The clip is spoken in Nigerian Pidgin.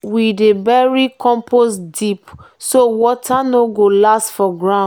we dey bury compost deep so water go last for ground.